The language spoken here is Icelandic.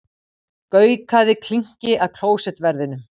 Gaukaði klinki að klósettverðinum.